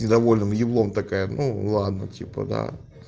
недовольным еблом такая ну ладно типа да